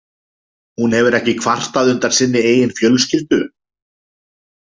Hún hefur ekki kvartað undan sinni eigin fjölskyldu?